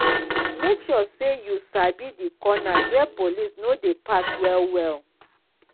make sure say you sabi di corners wey police no de pass well well